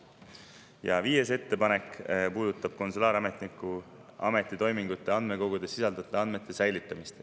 Ja viies ettepanek puudutab konsulaarametniku ametitoimingute andmekogudes sisalduvate andmete säilitamist.